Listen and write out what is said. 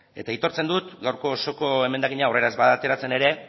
eta aitortzen dut gaurko osoko emendakina aurrera ez bada ateratzen ere